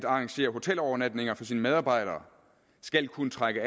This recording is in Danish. arrangere hotelovernatninger for sine medarbejdere skal kunne trække